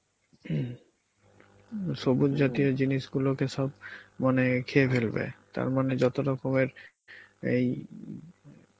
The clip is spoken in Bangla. সবুজ জাতীয় জিনিস গুলোকে সব মানে খেয়ে ফেলবে মানে যত রকমের এই